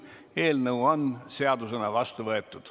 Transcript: Eelnõu on seadusena vastu võetud.